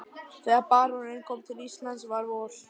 Þegar baróninn kom til Íslands var vor.